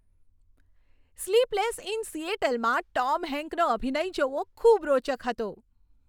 "Sleepless in સિએટલ"માં Tom હેન્કનો અભિનય જોવો ખૂબ રોચક હતો.